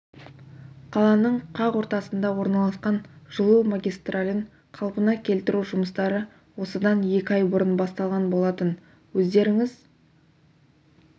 қаланың қақ ортасында орналасқан жылу магистралін қалпына келтіру жұмыстары осыдан екі ай бұрын басталған болатын өздеріңіз